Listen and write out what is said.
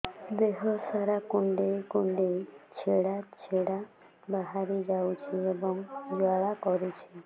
ଦେହ ସାରା କୁଣ୍ଡେଇ କୁଣ୍ଡେଇ ଛେଡ଼ା ଛେଡ଼ା ବାହାରି ଯାଉଛି ଏବଂ ଜ୍ୱାଳା କରୁଛି